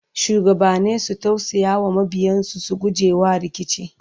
shugabanni su tausaya wa mabiyansu su gujewa rikici